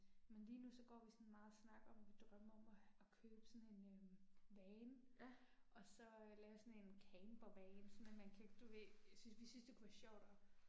Men lige nu så går vi sådan meget og snakker om at vi drømmer om og og købe sådan en øh van. Og så lave sådan en campervan sådan en man kan, du ved, synes vi synes det kunne være sjovt og